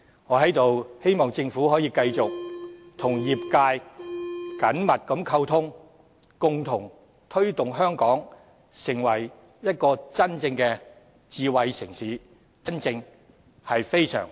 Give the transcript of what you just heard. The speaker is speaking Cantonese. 我在此希望政府可以繼續與業界緊密溝通，共同推動香港成為真正的智慧城市——真正非常 smart 的城市。